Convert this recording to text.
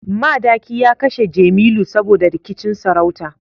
Madaki ya kashe Jemilu saboda rikicin sarauta